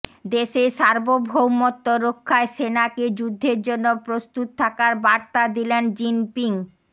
দেশের সার্বভৌমত্ব রক্ষায় সেনাকে যুদ্ধের জন্য প্রস্তুত থাকার বার্তা দিলেন জিনপিং